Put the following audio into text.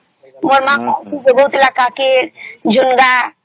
ମୋର ମା କହୁଥିଲା କାକି ଝୁଂଗ